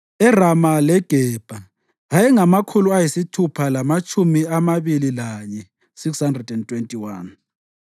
eRama leGebha ayengamakhulu ayisithupha lamatshumi amabili lanye (621),